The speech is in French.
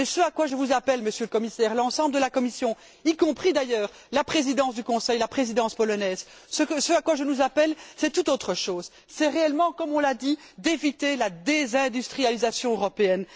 Ce à quoi je vous appelle, Monsieur le Commissaire, l'ensemble de la Commission, y compris, d'ailleurs, la présidence du Conseil, la présidence polonaise, c'est tout autre chose c'est réellement, comme on l'a dit, d'éviter la désindustrialisation européenne.